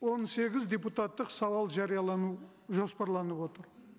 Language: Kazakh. он сегіз депутаттық сауал жариялану жоспарланып отыр